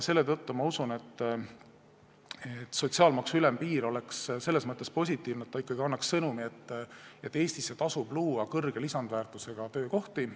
Selle tõttu ma usun, et sotsiaalmaksu ülempiir oleks selles mõttes positiivne, et ta annaks sõnumi, et Eestisse tasub luua suure lisandväärtusega töökohti.